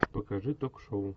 покажи ток шоу